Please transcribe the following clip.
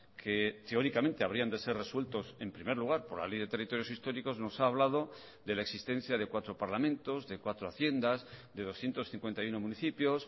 que teóricamente habrían de ser resueltos en primer lugar por la ley de territorios históricos nos ha hablado de la existencia de cuatro parlamentos de cuatro haciendas de doscientos cincuenta y uno municipios